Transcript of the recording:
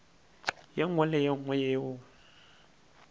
nngwe le ye nngwe yeo